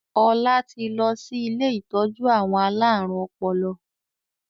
Ọlá tí lọ sí ilé ìtọ́jú àwọn alárùn ọpọlọ.